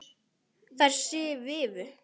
Þær svifu.